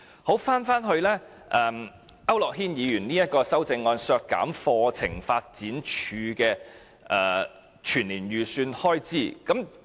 說回區諾軒議員削減課程發展處的全年預算開支的修正案。